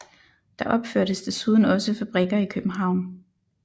Der opførtes desuden også fabrikker i København